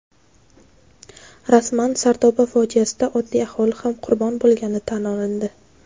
Rasman: "Sardoba fojiasi"da oddiy aholi ham qurbon bo‘lgani tan olindi.